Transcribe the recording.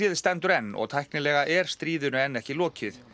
stendur enn og tæknilega er stríðinu enn ekki lokið